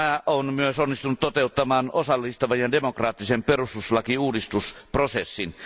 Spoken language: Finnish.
Maa on myös onnistunut toteuttamaan osallistavan ja demokraattisen perustuslakiuudistusprosessin.